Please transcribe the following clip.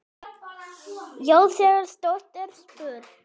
Já, þegar stórt er spurt.